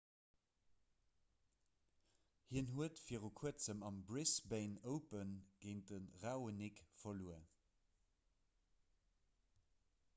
hien huet vir kuerzem am brisbane open géint de raonic verluer